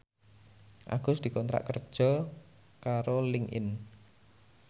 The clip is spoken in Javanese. Agus dikontrak kerja karo Linkedin